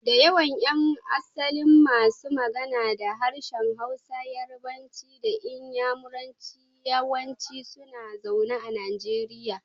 Da yawan yan asalin masu magana da harshen Hausa, Yarbanci da Inyamuranci yawanci suna zaune a Najeriya.